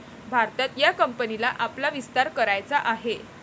भारतात या कंपनीला आपला विस्तार करायचा आहे.